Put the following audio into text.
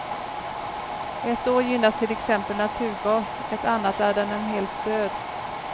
Ett år gynnas till exempel naturgas, ett annat är den en helt död.